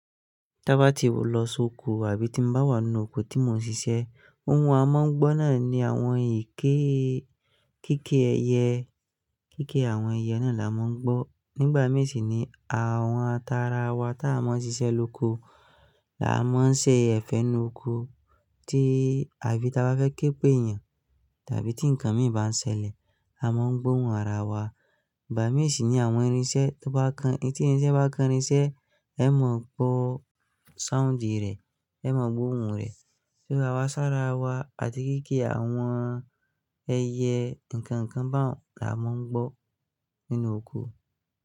Tábá tin lọ sóko àbí tín bá wà nínú oko tí mo ń ṣiṣẹ́, oùn a máa ń gbọ́ náà ni àwọn ìké kéké ẹyẹ, kéké àwọn ẹyẹ náà là má ń gbọ́. Nígbà mìí sì ni àwọn tara wa ta máa ń ṣiṣẹ́ lóko, tà má ń ṣe ẹ̀fẹ̀ nínú oko tí, àbí tá bá fẹ́ ké pé èèyàn tàbí tí ǹkan mìí bá ń ṣẹlẹ̀, a má ń gbó ohun ara wa. Ìgbà mìí sì ni àwọn irinṣẹ́ to bá kan, tí irinṣẹ́ bá kan irinṣẹ́, ẹ mọ gbọ́ sound rẹ̀, ẹ mọ gbó ohun rẹ̀. Ira wa sára wa àti kéké àwọn ẹyẹ, ǹkan ǹkan ba un là má ń gbọ́ nínú oko.